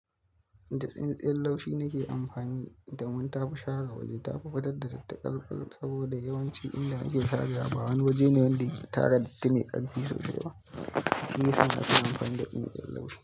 Da tsintsiyar laushi nake amfani domin ta fi shara waje. Ta fafatar da tattakarkar saboda yawanci inda ake shara, ba wani waje ne wanda yake tara datin mai karfi sosai. Ni suna ta amfani da datsin tsirrau.